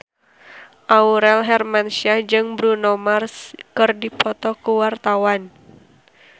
Aurel Hermansyah jeung Bruno Mars keur dipoto ku wartawan